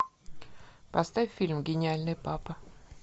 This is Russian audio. поставь фильм гениальный папа